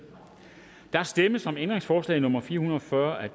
der stemmes om ændringsforslag nummer fire hundrede og fyrre af